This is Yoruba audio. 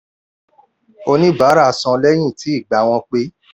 oníbàárà san lẹ́yìn tí ìgbà wọn pé.